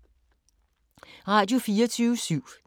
Radio24syv